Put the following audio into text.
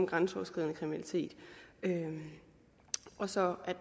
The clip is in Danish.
grænseoverskridende kriminalitet og så